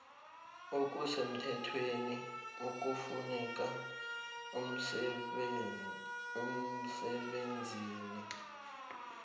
okusemthethweni okufuneka emsebenzini